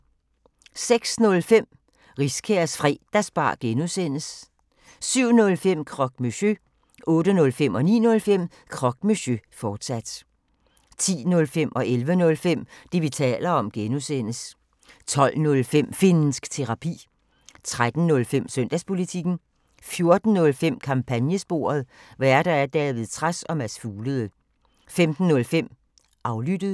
06:05: Riskærs Fredagsbar (G) 07:05: Croque Monsieur 08:05: Croque Monsieur, fortsat 09:05: Croque Monsieur, fortsat 10:05: Det, vi taler om (G) 11:05: Det, vi taler om (G) 12:05: Finnsk Terapi 13:05: Søndagspolitikken 14:05: Kampagnesporet: Værter: David Trads og Mads Fuglede 15:05: Aflyttet